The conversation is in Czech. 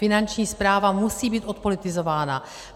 Finanční správa musí být odpolitizována.